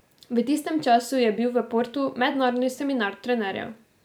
V tistem času je bil v Portu mednarodni seminar trenerjev.